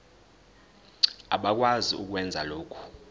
abakwazi ukwenza lokhu